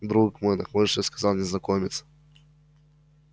друг мой нахмурившись сказал незнакомец